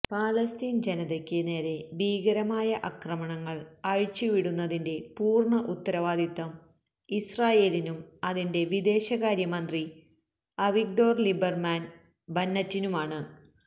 ഫലസ്തീന് ജനതയ്ക്ക് നേരെ ഭീകരമായ അക്രമങ്ങള് അഴിച്ചു വിടുന്നതിന്റെ പൂര്ണ്ണ ഉത്തരവാദിത്വം ഇസ്രായേലിനും അതിന്റെ വിദേശകാര്യമന്ത്രി അവിഗ്ദോര് ലീബര്മാന് ബന്നറ്റിനുമാണ്